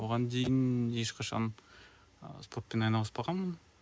оған дейін ешқашан ы спортпен айналыспағанмын